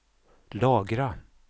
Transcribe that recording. lagra